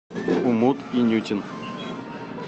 умут инютин